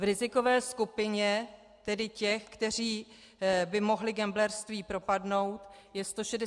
V rizikové skupině, tedy těch, kteří by mohli gamblerství propadnout, je 168 tisíc lidí.